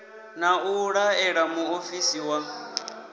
na u laela muofisi wa